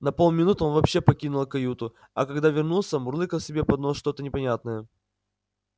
на полминуты он вообще покинул каюту а когда вернулся мурлыкал себе под нос что-то непонятное